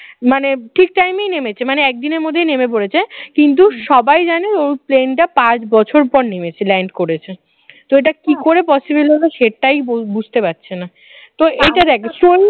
মানে ঠিক time এই নেমেছে মানে একদিনের মধ্যে নেমে পড়েছে কিন্তু সবাই জানে ওই plane টা পাঁচ বছর পরে নেমেছে land করেছে তো এটা কি করে possible হল সেটাই বুঝতে পারছি না তো এটা দেখ